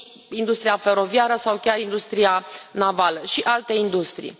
industria feroviară sau chiar industria navală și alte industrii.